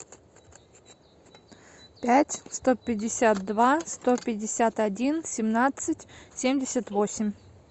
пять сто пятьдесят два сто пятьдесят один семнадцать семьдесят восемь